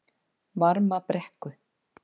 Varmabrekku